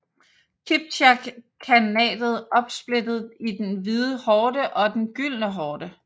Kipchak khanatet opsplittet i den Hvide Horde og den Gyldne Horde